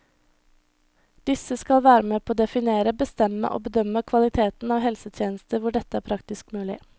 Disse skal være med på å definere, bestemme og bedømme kvaliteten av helsetjenester hvor dette er praktisk mulig.